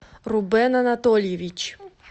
рубен анатольевич